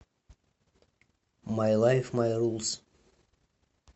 май лайф май рулс